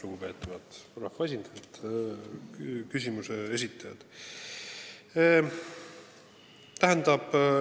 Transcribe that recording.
Lugupeetud rahvaesindajad, ka küsimuse esitajad!